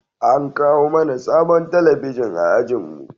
An kawo mana sabon talabijin a ajinmu